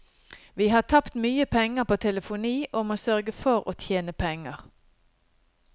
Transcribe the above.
Vi har tapt mye penger på telefoni, og må sørge for å tjene penger.